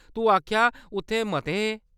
तूं आखेआ उत्थै मते हे ?